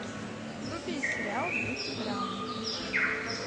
вруби сериал в духе драмы